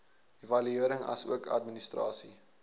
evaluering asook administrasie